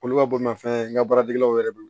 Olu ka bolimafɛn n ka baaratigiw yɛrɛ bolo